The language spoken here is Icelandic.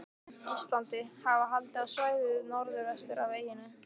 Íslandi, hafa haldið á svæðið norðvestur af eyjunni.